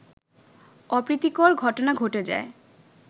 অপ্রীতিকর ঘটনা ঘটে যায়